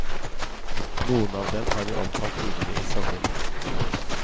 Noen av dem har vi omtalt tidligere i sommer.